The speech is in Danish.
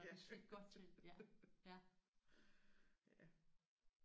Ja slidt godt til ja